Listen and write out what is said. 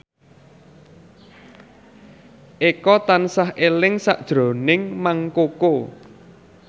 Eko tansah eling sakjroning Mang Koko